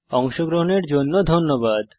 অংশগ্রহনের জন্য ধন্যবাদ